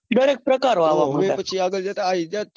ગણેક પ્રકારો આવા મંડ્યા હવે